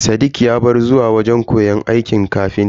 Sadiq ya bar zuwa wajen koyon aikin ƙafintan.